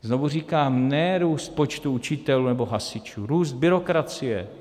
Znovu říkám, ne růst počtu učitelů nebo hasičů, růst byrokracie.